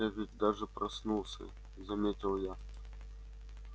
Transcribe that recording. я ведь даже проснулся заметил я